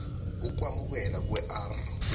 ukwamukelwa kwe r